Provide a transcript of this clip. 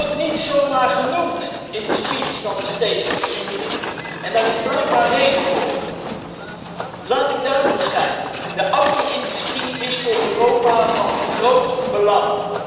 Je wordt niet zómaar genoemd in de speech van de State of the Union en daar is blijkbaar reden voor. Laat ik duidelijk zijn de auto industrie is voor Europa van groot belang.